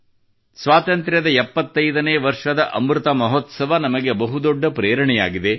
ಸ್ವಾತಂತ್ರ್ಯದ 75 ನೇ ವರ್ಷದ ಅಮೃತ ಮಹೋತ್ಸವ ನಮಗೆ ಬಹು ದೊಡ್ಡ ಪ್ರೇರಣೆಯಾಗಿದೆ